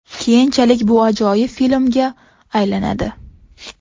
Keyinchalik bu ajoyib filmga aylanadi.